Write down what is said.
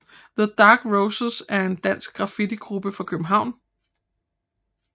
The Dark Roses er en dansk graffitigruppe fra København